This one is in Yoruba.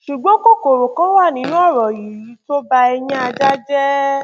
ṣùgbọn kòkòrò kan wà nínú ọrọ yìí tó ba ẹyin ajá jẹ